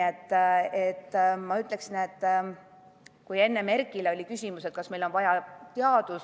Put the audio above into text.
Enne oli Erkile küsimus, kas meil on vaja teadusarendust.